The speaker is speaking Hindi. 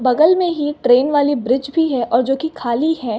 बगल में ही एक ट्रैन वाली ब्रीज़ भी है और जोकि खाली है।